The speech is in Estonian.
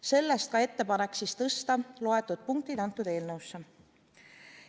Sellest ka ettepanek tõsta need punktid sellesse eelnõusse.